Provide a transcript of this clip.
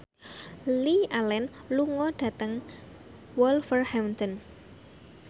Lily Allen lunga dhateng Wolverhampton